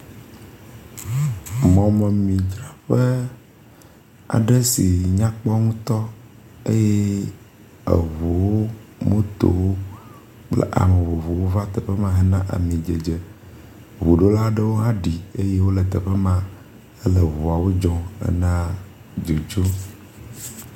Mɔmemidzraƒe aɖe si nyakpɔ ŋutɔ eye eŋuu, motowo kple ame vovovowo va teƒe ma hena amidzedze. Ŋuɖola aɖewo hã ɖi eye wole teƒe ma hele ŋuawo dzɔm hena dzodzo.